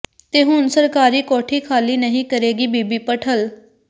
ਤੇ ਹੁਣ ਸਰਕਾਰੀ ਕੋਠੀ ਖਾਲੀ ਨਹੀਂ ਕਰੇਗੀ ਬੀਬੀ ਭੱਠਲ